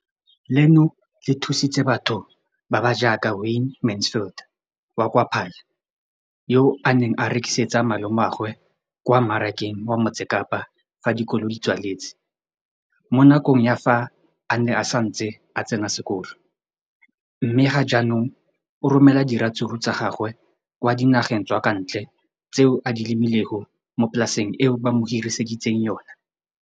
Leno le thusitse batho ba ba jaaka Wayne Mansfield, 33, wa kwa Paarl, yo a neng a rekisetsa malomagwe kwa Marakeng wa Motsekapa fa dikolo di tswaletse, mo nakong ya fa a ne a santse a tsena sekolo, mme ga jaanong o romela diratsuru tsa gagwe kwa dinageng tsa kwa ntle tseo a di lemileng mo polaseng eo ba mo hiriseditseng yona.